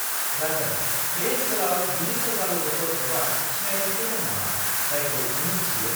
जागोन, बे ओनसोलाव बिनि सोरबा लोगोफोर एबा सिनायनायफोर दं नामा, जायखौ नों मिन्थियो?